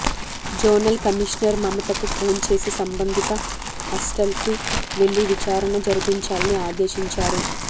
zonal commissioner మమతకు phone చేసి సంబంధిత హస్టల్కు వెళ్ళి విచారణ జరిపించాలని ఆదేశించారు